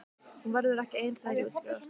Hún verður ekki ein þegar ég útskrifast.